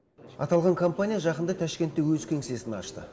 аталған компания жақында ташкентте өз кеңсесін ашты